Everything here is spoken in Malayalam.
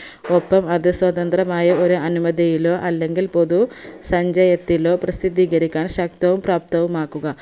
ഒപ്പം അത് സ്വതന്ത്രമായി ഒരു അനുമതിയിലോ അല്ലെങ്കിൽ പൊതു സഞ്ചയത്തിലോ പ്രസിദ്ധീകരിക്കാൻ ശക്തവും പ്രാപ്തവുമാക്കുക